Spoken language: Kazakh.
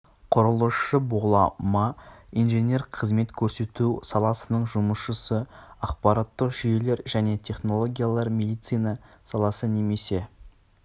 құрылысшы бола ма инженер қызмет көрсету саласының жұмысшысы ақпараттық жүйелер және технологиялар медицина саласы немесе